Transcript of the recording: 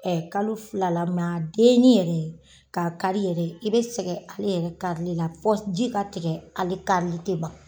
Ɛ kalo fila la den ni yɛrɛ k'a kari yɛrɛ i be sɛgɛ ale yɛrɛ kari li la fɔ ji ka tigɛ ale kari li te ban